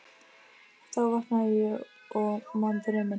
Þá vaknaði ég og man drauminn.